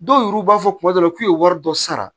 Dɔw yɛru b'a fɔ kuma dɔw la k'u ye wari dɔ sara